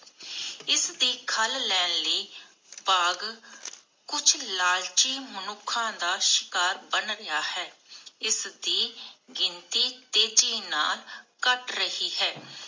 ਇਸਦੀ ਖੱਲ ਲੈਣ ਲਈ ਬਾਘ ਕੁਛ ਲਾਲਚੀ ਮਨੁੱਖਾ ਦਾ ਸ਼ਿਕਾਰ ਬਣ ਗਯਾ ਹੈ. ਇਸਦੀ ਗਿਣਤੀ ਤੇਜ਼ੀ ਨਾਲ ਘਟ ਰਹੀ ਹੈ